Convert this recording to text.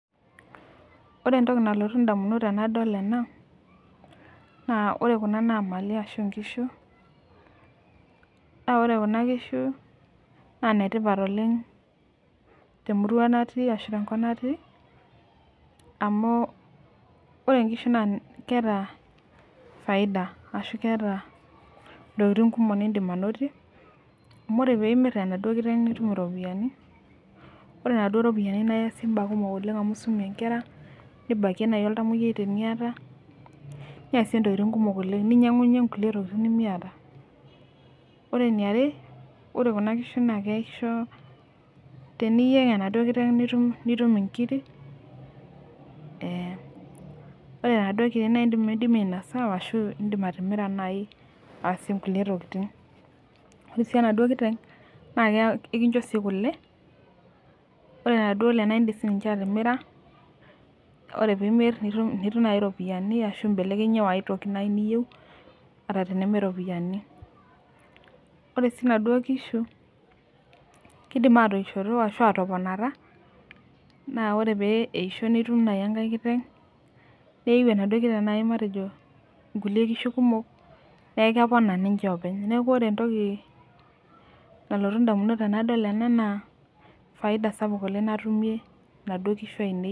Ore entoki nalotu ndamunot tandaol ena na ore kuna na mali ashu nkishu naore kuna kishu na netipat oleng temurua natii amu ore nkishu na keeta faida ashu keeta ntokitin kumok nindim ainotie amu ore pimir emaduo kiteng nitum iropiyani ore naduo ropiyiani na iasie ntokitin kumok amu isumie nkera nibakie oltamayiai tenuata niasie ntokitin kumok oleng ninyangunyie nkukie tokitin nimiata ore eniare ore kuna kishu na teniyeng enaduo kiteng nitun nkirkk ore naduo kirik na indim ainasa ashu indim atimira ainosie nkulie tokitin ore enaduo kiteng na ekicho kule ore naduo ale na indim atimira ore pimir nitum iropiyani ashu imbelekenyie oo aitoki niyieu ata tenemee ropiyani ore si naduo kishu kidim atoishoto ashu atoponata na ore peisho nitum enkai kiteng neiu enaduo kiteng nkishu kumok neaku kepona. Openy neakuore entoki nalotu ndamunot ainei na Faida sapuk natumie kuna kishu.